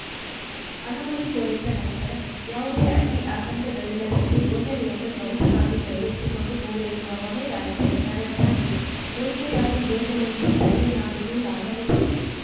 ಅನುಮತಿ ದೊರೆತ ನಂತರ ಯಾವುದೇ ಅಡ್ಡಿ ಆತಂಕಗಳಿಲ್ಲದಂತೆ ಯೋಜನೆಯನ್ನು ತ್ವರಿತವಾಗಿ ಕೈಗೆತ್ತಿಕೊಂಡು ಪೂರೈಸುವ ಹೊಣೆ ರಾಜ್ಯ ಸರ್ಕಾರದ್ದಾಗಿದೆ ಮೇಕೆದಾಟು ಯೋಜನೆಯಿಂದ ತಮಿಳುನಾಡಿಗು ಲಾಭವಿದೆ